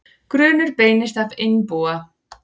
Grunur beinist að einbúa